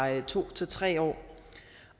to til tre år